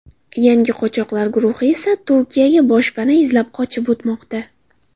Yangi qochoqlar guruhi esa Turkiyaga boshpana izlab qochib o‘tmoqda.